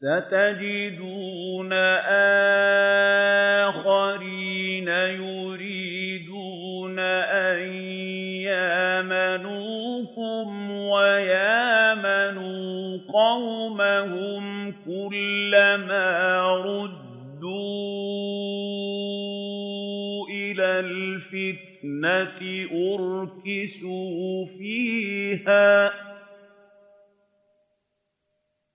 سَتَجِدُونَ آخَرِينَ يُرِيدُونَ أَن يَأْمَنُوكُمْ وَيَأْمَنُوا قَوْمَهُمْ كُلَّ مَا رُدُّوا إِلَى الْفِتْنَةِ أُرْكِسُوا فِيهَا ۚ